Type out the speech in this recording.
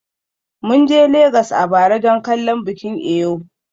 Mun je Legas a bara don kallon bikin Eyo.